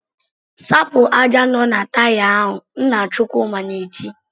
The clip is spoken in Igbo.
"Sapụ ájá nọ na Taya ahụ!" Nna Chukwuma na-eti.